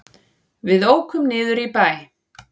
Við ókum niður í bæ.